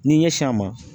N'i ɲɛsin a ma